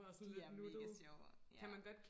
de er mega sjove ja